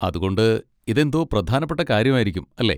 അതുകൊണ്ട് ഇതെന്തോ പ്രധാനപ്പെട്ട കാര്യമായിരിക്കും അല്ലെ?